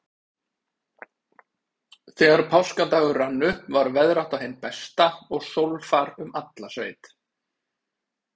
Þegar páskadagur rann upp var veðrátta hin besta og sólfar um alla sveit.